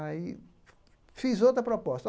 Aí fiz outra proposta.